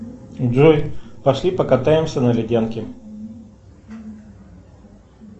джой пошли покатаемся на ледянке